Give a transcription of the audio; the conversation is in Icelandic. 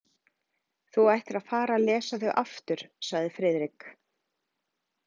Þú ættir að fara að lesa þau aftur sagði Friðrik.